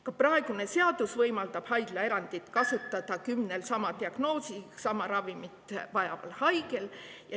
Ka praegune seadus võimaldab haiglaerandit kasutada kümnel sama diagnoosiga ja sama ravimit vajaval haigel.